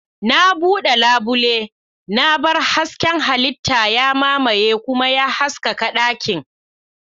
Na bude labule, na bar hasken halitta ya mamaye kuma ya haskaka dakin.